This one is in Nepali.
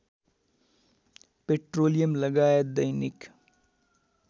पेट्रोलियम लगायत दैनिक